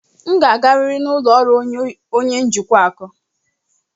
M ga-agarịrị n'ụlọ ọrụ onye njikwa ụlọ akụ.